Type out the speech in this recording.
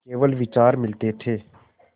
केवल विचार मिलते थे